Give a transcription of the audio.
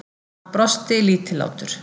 Hann brosti, lítillátur.